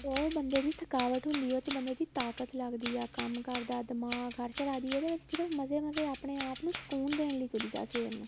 ਉਹ ਬੰਦੇ ਦੀ ਥਕਾਵਟ ਹੁੰਦੀ ਏ ਉਹ ਚ ਬੰਦੇ ਦੀ ਤਾਕਤ ਲੱਗਦੀ ਆ ਕੰਮ ਕਰਦਾ ਦਿਮਾਗ ਹਰ ਜਗ੍ਹਾ ਚ ਇਹਦੇ ਵਿੱਚ ਸਿਰਫ਼ ਮਜ਼ੇ ਮਜ਼ੇ ਆਪਣੇ ਆਪ ਨੂੰ ਸਕੂਨ ਦੇਣ ਲਈ ਨੂੰ ਕਰੀ ਦਾ ਸਵੇਰ ਨੂੰ